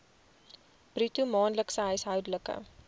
bruto maandelikse huishoudelike